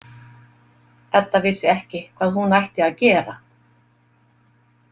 Edda vissi ekki hvað hún ætti að gera.